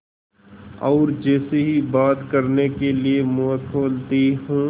और जैसे ही बात करने के लिए मुँह खोलती हूँ